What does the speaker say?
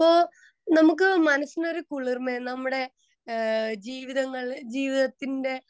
speaker 2 അപ്പൊ നമ്മുടെ മനസിന് കുളിർമയാ അഹ് ജീവിതങ്ങൾ ജീവിതത്തിന്റെ